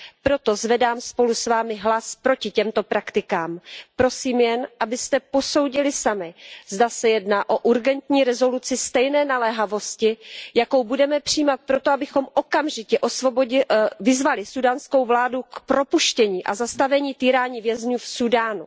Proto zvedám spolu s vámi hlas proti těmto praktikám. Prosím jen, abyste posoudili sami, zda se jedná o urgentní rezoluci stejné naléhavosti, jakou budeme přijímat proto, abychom okamžitě vyzvali súdánskou vládu k propuštění a k zastavení týraní vězňů v Súdánu.